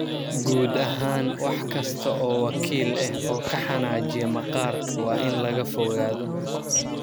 Guud ahaan, wax kasta oo wakiil ah oo ka xanaajiya maqaarka waa in laga fogaado.